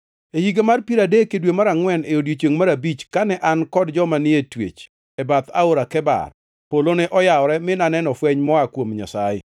E higa mar piero adek, e dwe mar angʼwen, e odiechiengʼ mar abich, kane an kod joma ni e twech e bath Aora mar Kebar, polo ne oyawore mi naneno fweny moa kuom Nyasaye.